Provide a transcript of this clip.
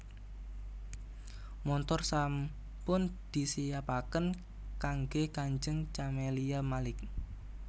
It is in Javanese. Montor sampun disiapaken kangge kanjeng Camelia Malik